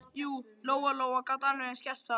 Jú, Lóa-Lóa gat alveg eins gert það.